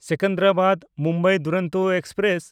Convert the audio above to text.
ᱥᱮᱠᱮᱱᱫᱨᱟᱵᱟᱫ–ᱢᱩᱢᱵᱟᱭ Duronto express